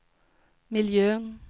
miljön